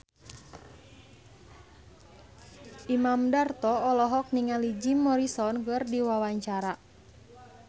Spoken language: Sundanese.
Imam Darto olohok ningali Jim Morrison keur diwawancara